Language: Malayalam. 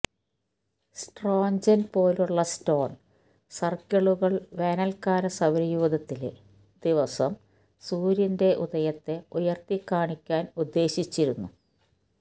സ്ട്രോഞ്ചെൻ പോലുള്ള സ്റ്റോൺ സർക്കിളുകൾ വേനൽക്കാല സൌരയൂഥത്തിലെ ദിവസം സൂര്യന്റെ ഉദയത്തെ ഉയർത്തിക്കാണിക്കാൻ ഉദ്ദേശിച്ചിരുന്നു